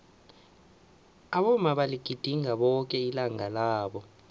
abomma baligidinga boke ilanga labo